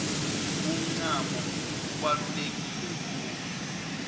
umncamo ubaluleke khulu